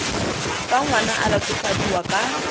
fa ngwana a latofadiwa ka